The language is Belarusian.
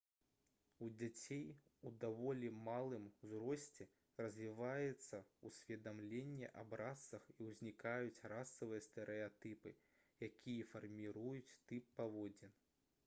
у дзяцей у даволі малым узросце развіваецца ўсведамленне аб расах і ўзнікаюць расавыя стэрэатыпы якія фарміруюць тып паводзін